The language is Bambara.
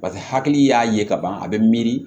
Paseke hakili y'a ye ka ban a bɛ miiri